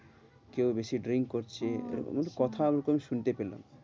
কেউ বেশি drink করছে, এরকম কথা একটু শুনতে পেলাম।